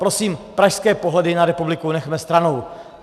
Prosím, pražské pohledy na republiku nechme stranou.